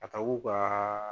A ka w'o ka